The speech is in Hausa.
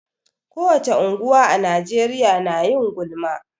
Ko wace unguwa a Najeriya na yin gulma.